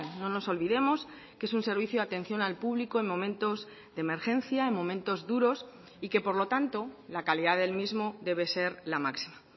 no nos olvidemos que es un servicio de atención al público en momentos de emergencia en momentos duros y que por lo tanto la calidad del mismo debe ser la máxima